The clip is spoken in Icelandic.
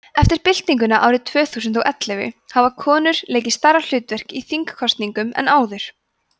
eftir byltinguna árið tvö þúsund og og ellefu hafa konur leikið stærra hlutverk í þingkosningum en áður